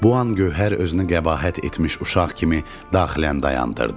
Bu an Gövhər özünü qəbahət etmiş uşaq kimi daxilən dayandırdı.